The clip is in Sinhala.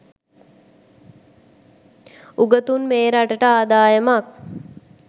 උගතුන් මේ රටට ආදායමක්